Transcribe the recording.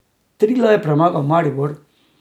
Triglav je premagal Maribor ...